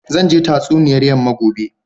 Zan je tatsuniyar yamma gobe.